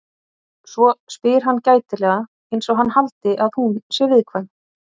Svo spyr hann gætilega einsog hann haldi að hún sé viðkvæm.